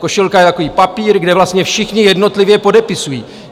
Košilka je takový papír, kde vlastně všichni jednotlivě podepisují.